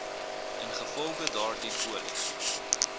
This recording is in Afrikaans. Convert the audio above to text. ingevolge daardie polis